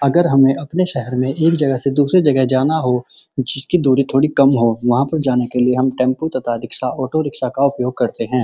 अगर हमें अपने शहर में एक जगह से दूसरी जगह जाना हो जिसकी दूरी थोड़ी कम हो वहाँ पर जाने के लिए टेंपू तथा रिक्सा ऑटो रिक्सा का उपयोग करते हैं।